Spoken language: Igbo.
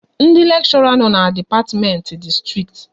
Ndị lekshora no n'dipatimenti dị strikt